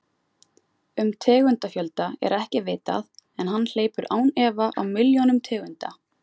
Um tegundafjölda er ekki vitað en hann hleypur án efa á milljónum tegunda.